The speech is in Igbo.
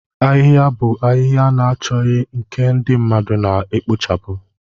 Ahịhịa bụ ahịhịa na-achọghị nke ndị mmadụ na-ekpochapụ.